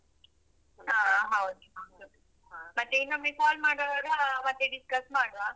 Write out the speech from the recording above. ಹ, ಹೌದು ಹೌದು. ಮತ್ತೆ ಇನ್ನೊಮ್ಮೆ call ಮಾಡುವಾಗ ಮತ್ತೆ discuss ಮಾಡುವ.